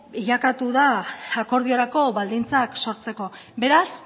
bilakatu da akordiorako baldintzak sortzeko beraz